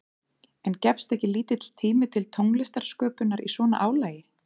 En gefst ekki lítill tími til tónlistarsköpunar í svona álagi?